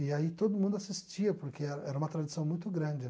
E aí todo mundo assistia, porque eh era uma tradição muito grande.